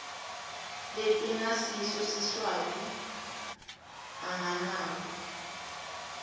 letingasiso siswati anganakwa